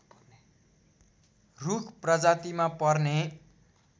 रूख प्रजातिमा पर्ने